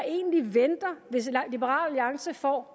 egentlig venter hvis liberal alliance får